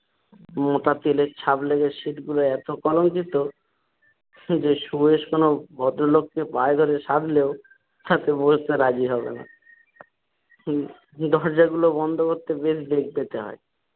মোটা তেলের ছাপ লেগে সিট্ গুলো এতো কলংকিত যে সুবেশ কোনো ভদ্রলোক কে পায়ে ধরে সাধলেও তাতে বসতে রাজি হবে না। উম দরজাগুলো বন্ধ করতে বেশ বেগ পেতে হয়।